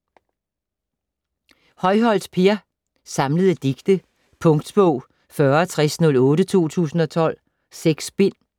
Højholt, Per: Samlede digte Punktbog 406008 2012. 6 bind.